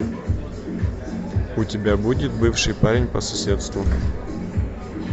у тебя будет бывший парень по соседству